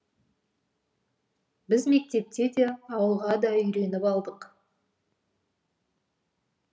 біз мектепте де ауылға да үйреніп алдық